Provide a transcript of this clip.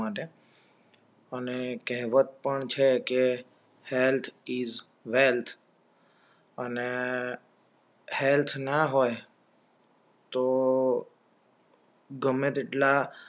અને કહેવત પણ છે કે health is wealth અને હેલ્થ ના હોય તો ગમે તેટલાં